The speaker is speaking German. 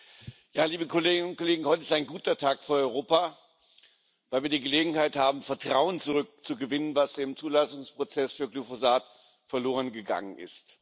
Frau Präsidentin, liebe Kolleginnen und Kollegen! Ja, heute ist ein guter Tag für Europa, weil wir die Gelegenheit haben, Vertrauen zurückzugewinnen, das im Zulassungsprozess für Glyphosat verlorengegangen ist.